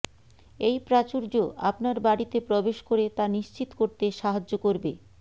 এই প্রাচুর্য আপনার বাড়িতে প্রবেশ করে তা নিশ্চিত করতে সাহায্য করবে